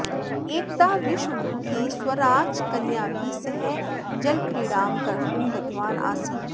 एकदा विश्वभूतिः स्वराजकन्याभिः सह जलक्रीडां कर्तुं गतवान् आसीत्